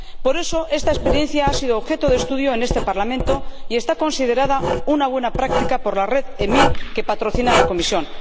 Por eso esta experiencia ha sido objeto de estudio en este Parlamento y está considerada una buena práctica por la red EMIN, que patrocina la Comisión.